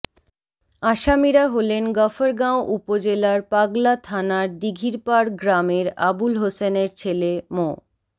আসামিরা হলেন গফরগাঁও উপজেলার পাগলা থানার দীঘিরপাড় গ্রামের আবুল হোসেনের ছেলে মো